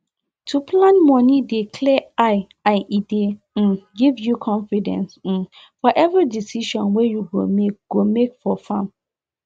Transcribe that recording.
to plan moni dey clear eye and e dey um give you confidence um for every decision wey you go make go make for farm